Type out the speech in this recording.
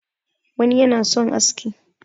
wani yana son aski